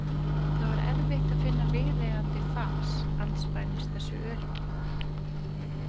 Það var erfitt að finna viðeigandi fas andspænis þessu öryggi.